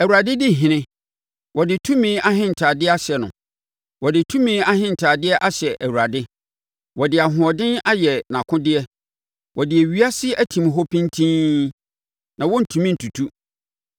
Awurade di ɔhene, wɔde tumi ahentadeɛ ahyɛ no; wɔde tumi ahentadeɛ ahyɛ Awurade na wɔde ahoɔden ayɛ nʼakodeɛ. Wɔde ewiase atim hɔ pintinn; na wɔrentumi ntutu.